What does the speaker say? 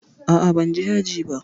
A'a, ban je aji ba.